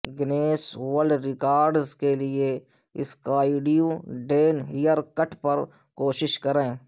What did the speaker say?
Guinness world records کے لئے skydiving hair cut پر کوشش کریں